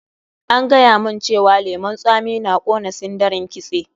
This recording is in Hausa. An gaya mun cewa lemun tsami na ƙona sindarin kitse.